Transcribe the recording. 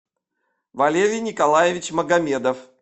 валерий николаевич магомедов